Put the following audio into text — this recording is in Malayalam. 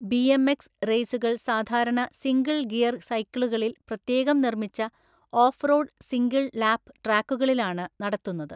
ബിഎംഎക്സ് റേസുകൾ സാധാരണ സിംഗിൾ ഗിയർ സൈക്കിളുകളിൽ പ്രത്യേകം നിർമ്മിച്ച ഓഫ് റോഡ് സിംഗിൾ ലാപ്പ് ട്രാക്കുകാളിലാണ് നടത്തുന്നത്.